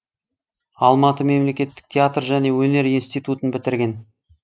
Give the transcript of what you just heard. алматы мемлекеттік театр және өнер институтын бітірген